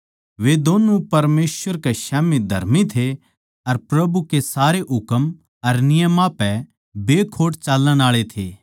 वे दोन्नु परमेसवर कै स्याम्ही धर्मी थे अर प्रभु कै सारे हुकम अर नियमां पै बेखोट चालण आळे थे